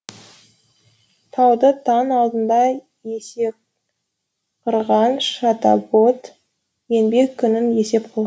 туады таң алдында есекқырған шатабот еңбек күнін есеп қылған